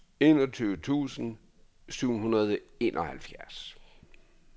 enogtyve tusind syv hundrede og enoghalvfjerds